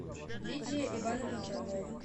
лидия ивановна фролова